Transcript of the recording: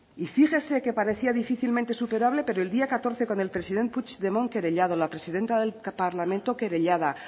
y fíjese que parecía difícilmente superable pero el día catorce con el presidente puigdemont querellado la presidenta del parlamento querellada